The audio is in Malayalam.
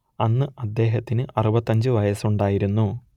അന്ന് അദ്ദേഹത്തിന് അറുപത്തിയഞ്ച് വയസ്സുണ്ടായിരുന്നു